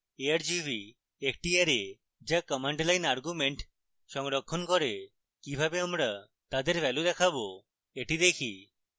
argv একটি array যা command line arguments সংরক্ষণ করে কিভাবে আমরা তাদের ভ্যালু দেখাবো